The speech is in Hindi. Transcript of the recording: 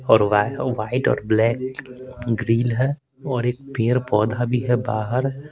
और वाइट और ब्लैक ग्रिल है और एक पेर पौधा भी है बाहर।